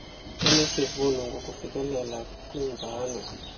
onesivuno ngokufikelela kwimvano